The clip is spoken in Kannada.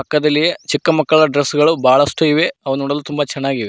ಪಕ್ಕದಲ್ಲಿ ಚಿಕ್ಕ ಮಕ್ಕಳ ಡ್ರೆಸ್ ಗಳು ಬಳಷ್ಟು ಇವೆ ಅವು ತುಂಬ ಚೆನ್ನಾಗಿವೆ.